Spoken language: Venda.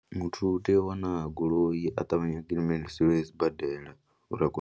Muthu u tea u wana goloi a ṱavhanye a gidimiselwe sibadela uri a kone.